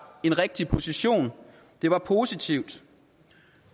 en rigtig position det var positivt